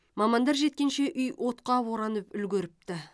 мамандар жеткенше үй отқа оранып үлгеріпті